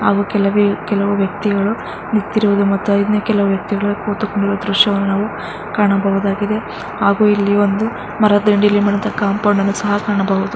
ಹಾಗು ಕೆಲವೇ ಕೆಲವು ವ್ಯಕ್ತಿಗಳು ನಿಂತಿರುವುದು ಮತ್ತು ಇನ್ನು ಕೆಲವು ವ್ಯಕ್ತಿಗಳು ಕೂತುಕೊಂಡಿರುವ ದೃಶ್ಯವನ್ನು ನಾವು ಕಾಣಬಹುದಾಗಿದೆ. ಹಾಗು ಇಲ್ಲಿ ಒಂದು ಕಾಂಪೌಂಡ್ ಅನ್ನು ಸಹ ಕಾಣಬಹುದು.